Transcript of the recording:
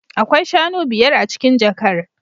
Akwai shanu biyar a cikin jakar